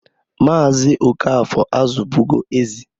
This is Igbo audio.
Maazị Okafor azụbụgo ezi.